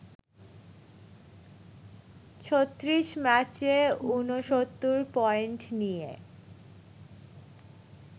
৩৬ ম্যাচে ৬৯ পয়েন্ট নিয়ে